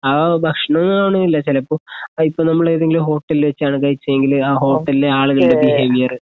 ആ ഭക്ഷണംനൊന്നുമില്ല ചിലപ്പോ ഇപ്പം നമ്മള് ഏതെങ്കിലും ഹോട്ടലിൽ വച്ചാണ് കഴിച്ചയെങ്കിൽ ആ ഹോട്ടലിലെ ആളുകളുടെ ബിഹേവിയർ